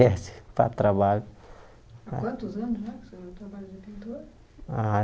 a trabalho Há quantos anos